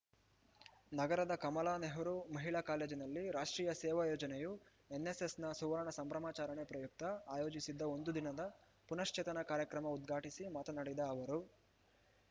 ನಗರದ ಕಮಲಾ ನೆಹರು ಮಹಿಳಾ ಕಾಲೇಜಿನಲ್ಲಿ ರಾಷ್ಟ್ರೀಯ ಸೇವಾ ಯೋಜನೆಯು ಎನ್‌ಎಸ್‌ಎಸ್‌ನ ಸುವರ್ಣ ಸಂಭ್ರಮಾಚರಣೆ ಪ್ರಯುಕ್ತ ಆಯೋಜಿಸಿದ್ದ ಒಂದು ದಿನದ ಪುನಶ್ಚೇತನ ಕಾರ್ಯಕ್ರಮ ಉದ್ಘಾಟಿಸಿ ಮಾತನಾಡಿದ ಅವರು